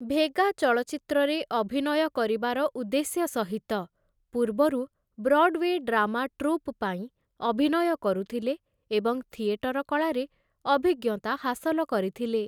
ଭେଗା', ଚଳଚ୍ଚିତ୍ରରେ ଅଭିନୟ କରିବାର ଉଦ୍ଦେଶ୍ୟ ସହିତ, ପୂର୍ବରୁ ବ୍ରଡୱେ ଡ୍ରାମା ଟ୍ରୁପ୍ ପାଇଁ ଅଭିନୟ କରୁଥିଲେ ଏବଂ ଥିଏଟର କଳାରେ ଅଭିଜ୍ଞତା ହାସଲ କରିଥିଲେ ।